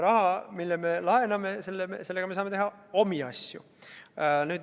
Raha, mille me laename, sellega me saame teha omi asju.